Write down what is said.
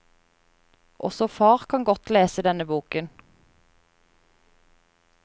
Også far kan godt lese denne boken.